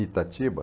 Itatiba?